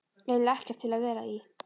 eiginlega ekkert til að vera í.